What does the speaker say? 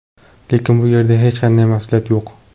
Lekin bu yerda hech qanday mas’uliyat yo‘q.